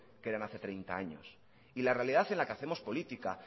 que eran treinta años y la realidad en la que hacemos política